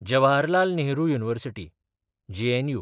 Jawaharlal Nehru University (JNU)